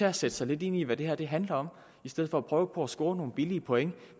at sætte sig lidt ind i hvad det her handler om i stedet for at prøve på at score nogle billige point